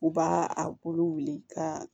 U b'a a bolo wuli ka